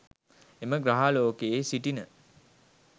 එම ග්‍රහලෝකයේ සිටින